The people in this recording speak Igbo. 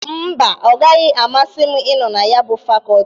Mba, ọ agahi amasị m ịnọ na ya bụ fakọtị.